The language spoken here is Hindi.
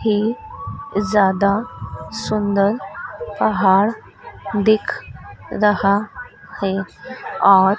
ही ज्यादा सुंदर पहाड़ दिख रहा है और--